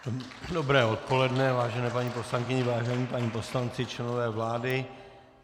Dobré odpoledne, vážené paní poslankyně, vážení páni poslanci, členové vlády.